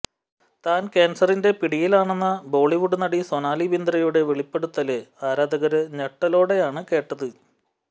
താന് ക്യാന്സറിന്റെ പിടിയിലാണെന്ന ബോളിവുഡ് നടി സൊനാലി ബിന്ദ്രയുടെ വെളിപ്പെടുത്തല് ആരാധകര് ഞെട്ടലോടെയാണ് കേട്ടത്